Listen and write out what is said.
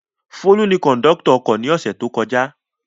Folú ni kọ̀ńdọ́tọ̀ ọkọ̀ ní ọ̀sẹ̀ tó kọjá.